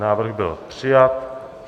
Návrh byl přijat.